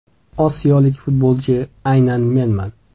Osiyolik futbolchi aynan menman.